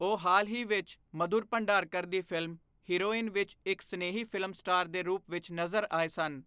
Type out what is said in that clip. ਉਹ ਹਾਲ ਹੀ ਵਿੱਚ ਮਧੁਰ ਭੰਡਾਰਕਰ ਦੀ ਫਿਲਮ 'ਹੀਰੋਇਨ' ਵਿੱਚ ਇੱਕ ਸਨੇਹੀ ਫਿਲਮ ਸਟਾਰ ਦੇ ਰੂਪ ਵਿੱਚ ਨਜ਼ਰ ਆਏ ਸਨ।